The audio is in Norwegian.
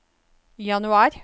januar